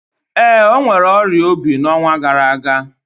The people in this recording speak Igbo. Ee, o nwèrè ọrịa obi n'ọnwa gara aga